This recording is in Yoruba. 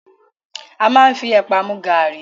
A máa ń fi ẹ̀pà mu gàárì